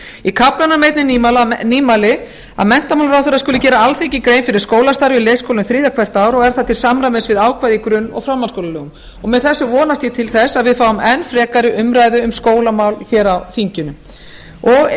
í kaflanum er einnig nýmæli að menntamálaráðherra skuli gera alþingi grein fyrir skólastarfi í leikskólum þriðja hvert ár og er það til samræmis við ákvæði í grunn og framhaldsskólalögum með þessu vonast ég til þess að við fáum enn frekari umræðu um skólamál hér á þinginu og